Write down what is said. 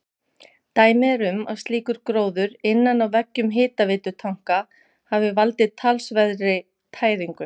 Dæmi er um að slíkur gróður innan á veggjum hitaveitutanka hafi valdið talsverðri tæringu.